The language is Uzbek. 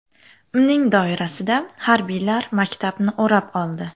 Uning doirasida harbiylar maktabni o‘rab oldi.